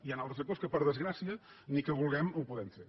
hi han altres sectors que per desgràcia ni que vulguem ho podem fer